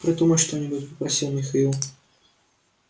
придумай что-нибудь попросил михаил